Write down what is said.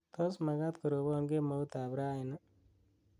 tos magaat korobon kemout ab rani ii